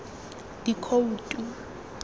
dikhoutu